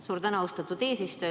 Suur tänu, austatud eesistuja!